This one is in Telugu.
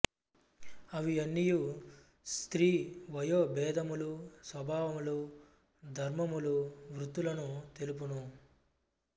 అవి అన్నియూ స్త్రీ వయో బేధములు స్వభావములు ధర్మములు వృత్తులను తెలుపును